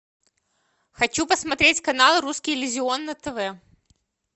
хочу посмотреть канал русский иллюзион на тв